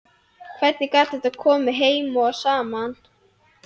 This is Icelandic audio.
Hvernig gat þetta komið heim og saman?